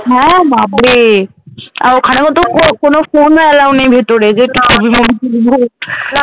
হ্যাঁ বাবরে! আর ওখানেও তো কোনো ফোন Allow নেই ভেতরে না